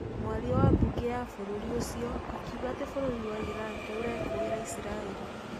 mwaria wa mbunge ya bũrũri ũcio akiuga atĩ bũrũri wa Iran nĩ ũrekũĩra Isiraeli.